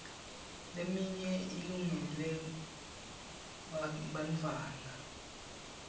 leminye ilungele bartfwana